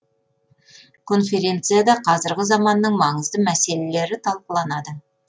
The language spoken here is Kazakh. конференцияда қазіргі заманның маңызды мәселелері талқыланады